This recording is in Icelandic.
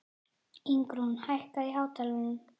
Ingrún, lækkaðu í hátalaranum.